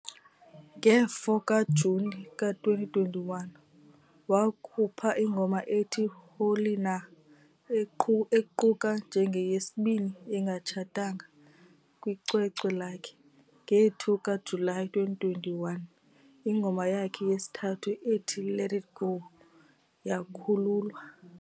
Nge-4 kaJuni ka-2021, wakhupha ingoma ethi "Hloli Na" equka njengeyesibini engatshatanga kwicwecwe lakhe. Nge-2 kaJulayi 2021, ingoma yakhe yesithathu ethi "Let It Go" yakhululwa.